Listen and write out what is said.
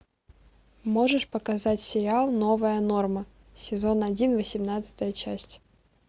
можешь показать сериал новая норма сезон один восемнадцатая часть